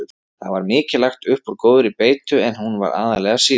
Það var mikið lagt upp úr góðri beitu en hún var aðallega síld.